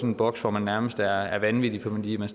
en boks hvor man nærmest er vanvittig fordi man